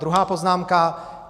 Druhá poznámka.